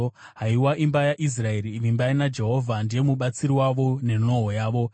Haiwa imba yaIsraeri, vimbai naJehovha, ndiye mubatsiri wavo nenhoo yavo.